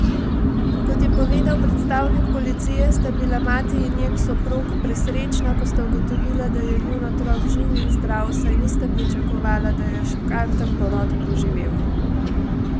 Kot je povedal predstavnik policije, sta bila mati in njen soprog presrečna, ko sta ugotovila, da je njun otrok živ in zdrav, saj nista pričakovala, da je šokanten porod preživel.